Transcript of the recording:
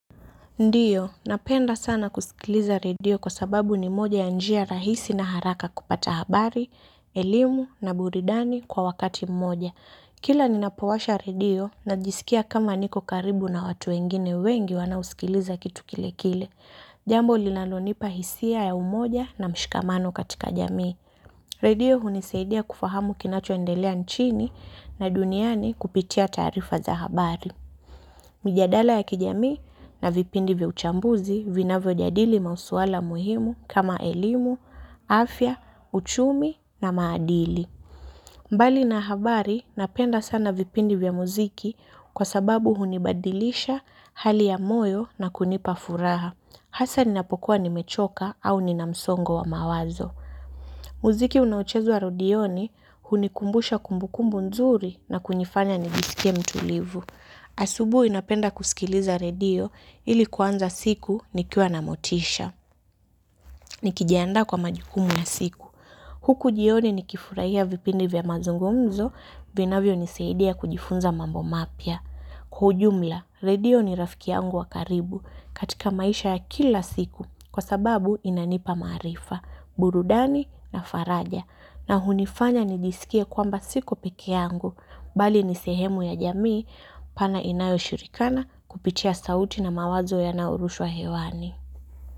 Ndiyo, napenda sana kusikiliza radio kwa sababu ni moja ya njia rahisi na haraka kupata habari, elimu na buridani kwa wakati mmoja. Kila ninapowasha radio na jisikia kama niko karibu na watu wengine wengi wanaosikiliza kitu kile kile. Jambo linalonipa hisia ya umoja na mshikamano katika jamii. Radio hunisaidia kufahamu kinachoendelea nchini na duniani kupitia taarifa za habari. Mjadala ya kijamii na vipindi vya uchambuzi vinavyo jadili mauswala muhimu kama elimu, afya, uchumi na maadili. Mbali na habari napenda sana vipindi vya muziki kwa sababu hunibadilisha hali ya moyo na kunipa furaha. Hasa ninapokuwa ni mechoka au nina msongo wa mawazo. Muziki unaochezwa redioni hunikumbusha kumbukumbu nzuri na kunifanya niniskie mtulivu. Asubui napenda kusikiliza redio ili kuanza siku nikiwa na motisha. Nikijandaa kwa majukumu ya siku. Huku jioni nikifuraia vipindi vya mazungumzo vinavyo nisaidia kujifunza mambo mapia. Kwa ujumla, redio ni rafiki yangu wa karibu katika maisha ya kila siku kwa sababu inanipa maarifa, burudani na faraja. Na hunifanya nijisikie kwamba siko peke yangu, bali ni sehemu ya jamii pana inayo shirikana kupitia sauti na mawazo yanaorushwa hewani.